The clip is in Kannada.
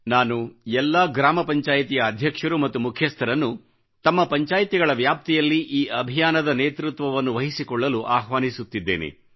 ನಾನು ಎಲ್ಲಾ ಗ್ರಾಮ ಪಂಚಾಯ್ತಿಗಳ ಅಧ್ಯಕ್ಷರು ಮತ್ತು ಮುಖ್ಯಸ್ಥರನ್ನು ತಮ್ಮ ಪಂಚಾಯ್ತಿಗಳ ವ್ಯಾಪ್ತಿಯಲ್ಲಿ ಈ ಅಭಿಯಾನದ ನೇತೃತ್ವವನ್ನು ವಹಿಸಿಕೊಳ್ಳಲು ಆಹ್ವಾನಿಸುತ್ತಿದ್ದೇನೆ